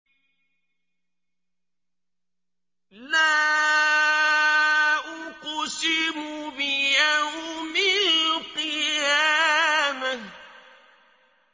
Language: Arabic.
لَا أُقْسِمُ بِيَوْمِ الْقِيَامَةِ